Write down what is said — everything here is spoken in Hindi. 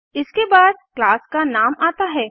इसके बाद क्लास का नाम आता है